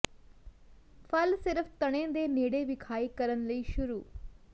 ਫਲ ਸਿਰਫ ਤਣੇ ਦੇ ਨੇੜੇ ਵਿਖਾਈ ਕਰਨ ਲਈ ਸ਼ੁਰੂ